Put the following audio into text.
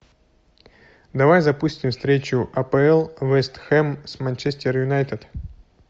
давай запустим встречу апл вест хэм с манчестер юнайтед